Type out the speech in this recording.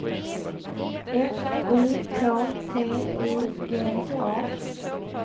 F U K T I G A